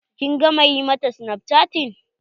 Kin gama ƴi mata snapchatting?